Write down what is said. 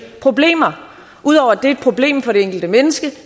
problemer ud over at det er problem for det enkelte menneske